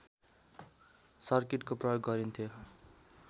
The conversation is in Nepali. सर्किटको प्रयोग गरिन्थ्यो